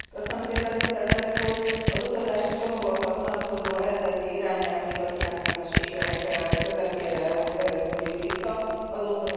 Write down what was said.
Az utazási csomagokra vonatkozó eredeti irányelv még a 90 es évek közepére nyúlik vissza, azóta viszont sok minden változott.